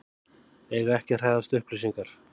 Eiga ekki að hræðast upplýsingar